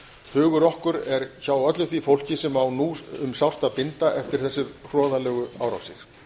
hugur okkar er hjá öllu því fólki sem á nú um sárt að binda eftir þessar hroðalegu árásir